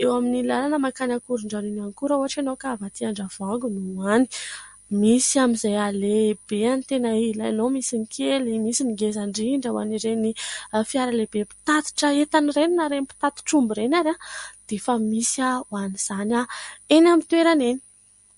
eo amin'ny lalana mankany Ankorondrano iny ihany koa, raha ohatra ianao ka avy aty Andravoahangy no hoany. Misy amin'izay halehibeny tena ilainao : misy ny kely, misy ny ngeza indrindra ho an'ireny fiara lehibe mpitatitra entana ireny, na ireny mpitatitra omby ireny ary dia efa misy ho an'izany eny amin'ny toerana eny.